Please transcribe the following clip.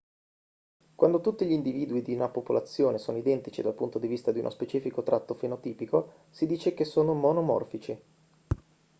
quando tutti gli individui di una popolazione sono identici dal punto di vista di uno specifico tratto fenotipico si dice che sono monomorfici